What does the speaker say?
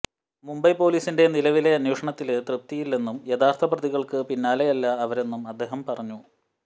മുംബൈ പൊലീസിന്റെ നിലവിലെ അന്വേഷണത്തില് തൃപ്തിയില്ലെന്നും യഥാര്ത്ഥ പ്രതികള്ക്ക് പിന്നാലെയല്ല അവരെന്നും അദ്ദേഹം പറഞ്ഞു